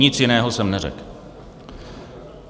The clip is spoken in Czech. Nic jiného jsem neřekl.